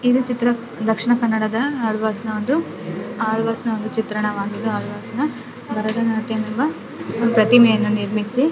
ಈ ಚಿತ್ರ ದಕ್ಷಿಣ ಕನ್ನಡದ ಆಳ್ವಾಸ ನ ಒಂದು ಆಳ್ವಾಸ್ ನ್ ಒಂದು ಚಿತ್ರಣವಾಗಿದೆ ಆಳ್ವಾಸ್ ನ ಭರತನಾಟ್ಯ ಎಂಬ ಪ್ರತಿಮೆಯನ್ನ ನಿಲ್ಲಿಸಿ --